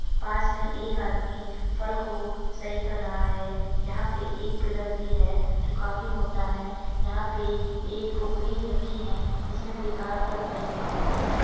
पास में एक आदमी फल को सही कर रहा है। यहाँ पे एक पिलर भी है जो काफी मोटा है। यहाँ पे एक टोकरी रखी है। जिसमें बेकार फल पड़े हैं।